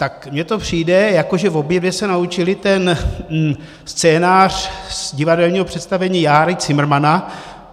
Tak mně to přijde, jako že obě dvě se naučily ten scénář z divadelního představení Járy Cimrmana.